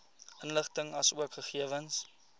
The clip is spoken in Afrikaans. inligting asook gegewens